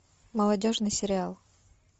молодежный сериал